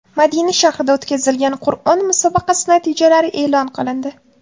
Madina shahrida o‘tkazilgan Qur’on musobaqasi natijalari e’lon qilindi.